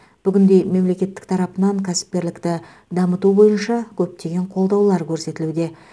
бүгінде мемлекет тарапынан кәсіпкерлікті дамыту бойынша көптеген қолдаулар көрсетілуде